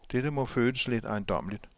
Dette må føles lidt ejendommeligt.